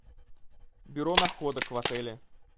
бюро находок в отеле